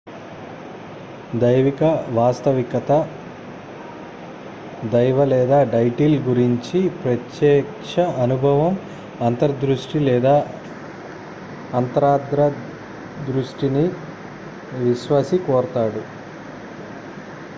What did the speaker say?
దైవిక వాస్తవికత/దైవలేదా డైటీల గురించి ప్రత్యక్ష అనుభవం అంతర్దృష్టి లేదా అంతర్దృష్టిని విశ్వాసి కోరతాడు